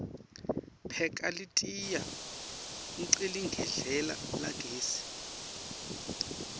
pheka litiya hqeligedlela lagesi